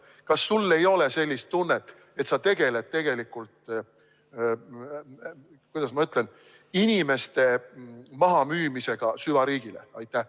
Kas sul ei ole sellist tunnet, et sa tegeled tegelikult, kuidas ma ütlen, inimeste mahamüümisega süvariigile?